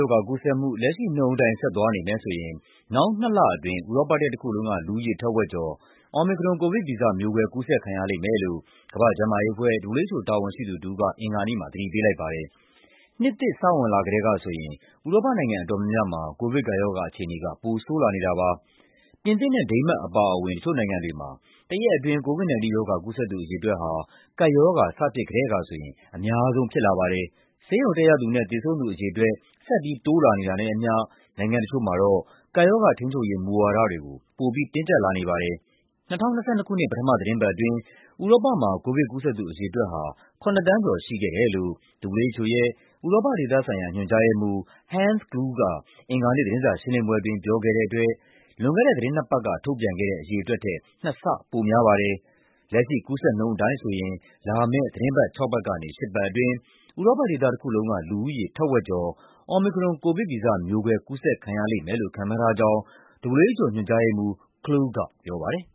ရောဂါကူးစက်မှု လက်ရှိနှုန်းအတိုင်း ဆက်သွားနေမယ်ဆိုရင် နောက်နှစ်လအတွင်း ဥရောပတိုက်တခုလုံး က လူဦးရေထက်ဝက်ကျော် Omicron ကိုဗစ်ဗီဇမျိုးကွဲ ကူးစက်ခံရလိမ့်မယ်လို့ ကမ္ဘာ့ကျန်းမာရေးအဖွဲ့ (WHO) တာဝန်ရှိသူတဦး က အင်္ဂါနေ့မှာပြောပါတယ်။ နှစ်သစ် စဝင်ကတည်းကဆိုရင် ဥရောပနိုင်ငံအတော်များများမှာ ကိုဗစ်ကပ်ရောဂါအခြေအနေက ပိုဆိုးလာနေတာပါ။ ပြင်သစ်နဲ့ ဒိန်းမတ်အပါအဝင် တချို့နိုင်ငံတွေမှာ တရက်အတွင်း COVID-19 ရောဂါ ကူးစက်သူအရေအတွက်ဟာ ကပ်ရောဂါ စဖြစ် ကတည်းကဆိုရင် အများဆုံးဖြစ်လာပါတယ်။ ဆေးရုံတက်ရသူနဲ့ သေဆုံးသူအရေအတွက် ဆက်ပြီးတိုးလာနေတာနဲ့အမျှ နိုင်ငံ တချို့မှာ ကပ်ရောဂါထိန်းချုပ်ရေး မူဝါဒတွေကို ပိုပြီး တင်းကျပ်လာနေပါတယ်။ ၂၀၂၂ ခုနှစ် ပထမသီတင်းပတ်အတွင်း ဥရောပမှာ ကိုဗစ်ကူးစက်သူအရေအတွက်ဟာ ၇ သန်းကျော် ရှိခဲ့တယ်လို့ WHO ရဲ့ ဥရောပဒေသဆိုင်ရာ ညွှန်ကြားရေးမှူး Hans Kluge က အင်္ဂါနေ့ သတင်းစာရှင်းလင်းပွဲအတွင်း ပြောခဲ့တဲ့အတွက် လွန်ခဲ့တဲ့ သီတင်းနှစ်ပတ်က ထုတ်ပြန်ခဲ့တဲ့အရေအတွက်ထက် နှစ်ဆ ပိုများပါတယ်။ လက်ရှိကူးစက်နှုန်းအတိုင်းဆိုရင် လာမယ့် သီတင်းပတ်ခြောက်ပတ်ကနေ ရှစ်ပတ်အတွင်း ဥရောပဒေသတခုလုံးက လူဦးရေ ထက်ဝက်ကျော် Omicron ကိုဗစ်ဗီဇမျိုးကွဲ ကူးစက်ခံရလိမ့်မယ်လို့ ခန့်မှန်းထားကြောင်း WHO ညွှန်ကြားရေးမှူး Kluge ကပြောပါတယ်